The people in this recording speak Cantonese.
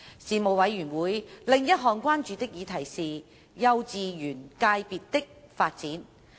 事務委員會另一項關注的議題是幼稚園界別的發展。